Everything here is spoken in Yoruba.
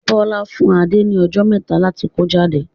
Bọlá fún Adé ni ọjọ́ mẹta láti kó jáde.